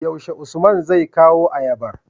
yaushe usman zai kawo ayabar?